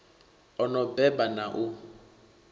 o no beba na u